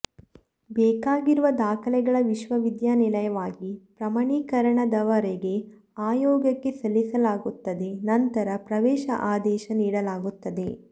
ಬೇಕಾಗಿರುವ ದಾಖಲೆಗಳ ವಿಶ್ವವಿದ್ಯಾನಿಲಯವಾಗಿ ಪ್ರಮಾಣೀಕರಣದವರೆಗೆ ಆಯೋಗಕ್ಕೆ ಸಲ್ಲಿಸಲಾಗುತ್ತದೆ ನಂತರ ಪ್ರವೇಶದ ಆದೇಶ ನೀಡಲಾಗುತ್ತದೆ